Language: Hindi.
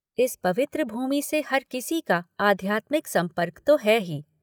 इस पवित्र भूमि से हर किसी का आध्यात्मिक सम्पर्क तो है ही।